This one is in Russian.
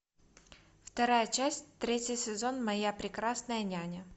вторая часть третий сезон моя прекрасная няня